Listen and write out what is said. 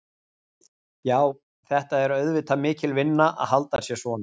Já, þetta er auðvitað mikil vinna að halda sér svona.